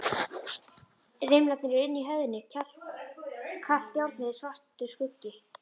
Rimlarnir eru inni í höfðinu, kalt járnið er svartur skuggi.